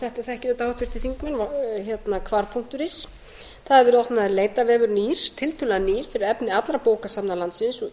þetta þekkja auðvitað háttvirtir þingmenn á hvar punktur is þar er opnaður leitarvefur tiltölulega nýr fyrir efni allra bókasafna landsins og